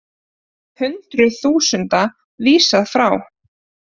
Hundruð þúsunda vísað frá